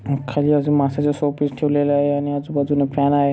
खाली अजून माश्याचा शोपीस ठेवलेलं आहे आणि आजुबाजुन फॅन आहेत.